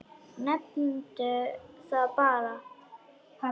Nefndu það bara.